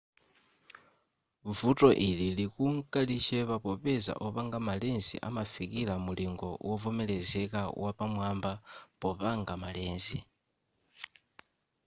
vuto ili likunka lichepa popeza opanga ma lens amafikira mulingo wovomerezeka wapamwaba popanga ma lens